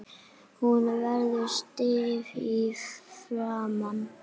Hún verður stíf í framan.